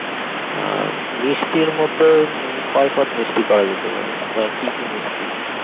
আর মিষ্টির মধ্যে উম কই পাত মিষ্টি করা যেতে পারে বা কি কি মিষ্টি